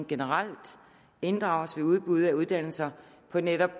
generelt inddrages ved udbud af uddannelser på netop